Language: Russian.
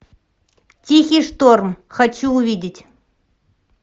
тихий шторм хочу увидеть